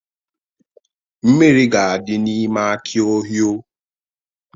Mmiri ga-adị n'ime aki Ohio.